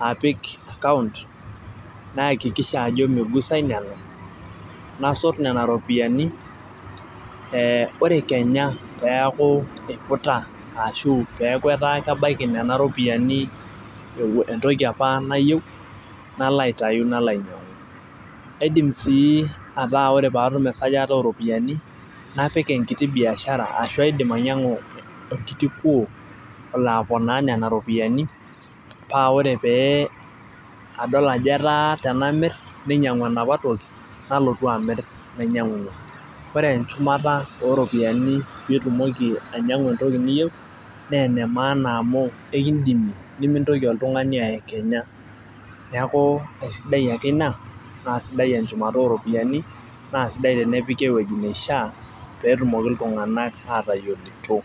apik account naakikisha ajo meigusae nena, nasot nena ropiyiani ore kenya peeku, eiputa aashu etaa kebaiki nena ropiyiani entoki apa nayieu, nalo aitayu nalo ainyiang'u kaidim sii ajo ore pee atum esajata oo ropiyiani napik enkiti biashara ashu kaidim ainyiang'u orkiti kuo olo aponaa nena ropiyiani, paa ore pee adol ajo, etaa tenamir ninyiang'u enapa toki, nalotu amir nainyiangu, ore enchumata ooropiyiani pee itumoki ainyiangu entoki niyieu naa ene maana amu ekidimie, nemintoki oltungani ayekenya, neeku esidai ake ina naa sidai enchumata oo ropiyiani etnepiki eweuji nisha pee etumoki iltunganak aatayioloito.